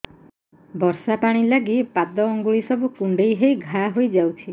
ବର୍ଷା ପାଣି ଲାଗି ପାଦ ଅଙ୍ଗୁଳି ସବୁ କୁଣ୍ଡେଇ ହେଇ ଘା ହୋଇଯାଉଛି